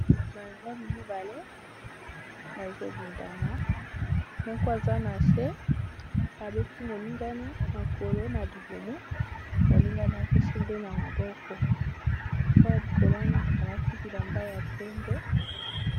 Ba mibali mibale bazobundana moko aza na se abeti moningane makolo na libumu moningane azo simba ye na maboko oyo ya likolo wana alati elamba ya pembe.